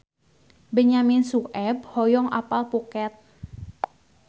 Benyamin Sueb hoyong apal Phuket